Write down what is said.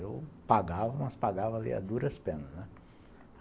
Eu pagava, mas pagava ali a duras penas, né?